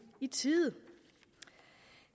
i tide